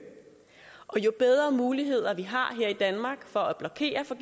og jo bedre muligheder vi har i danmark for at blokere for